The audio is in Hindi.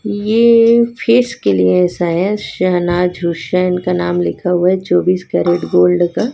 ये फेस के लिए है शायद शहनाज हुसैन का नाम लिखा हुआ है चौबीस कैरेट गोल्ड का।